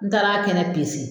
N taar'a kɛnɛ